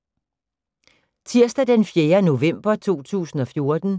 Tirsdag d. 4. november 2014